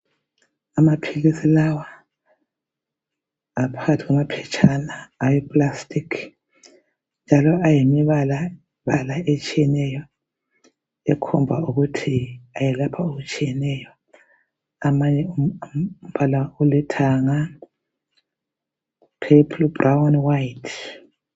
Amaphilisi lawa aphakathi kwamaphetshana aweplastic njalo ayimibalabala etshiyeneyo ekhomba ukuthi ayelapha okutshiyeneyo. Amanye alombala olithanga, purple, brown, white.